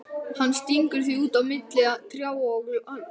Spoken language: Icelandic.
Hann stingur því út á milli trjáa og laufs.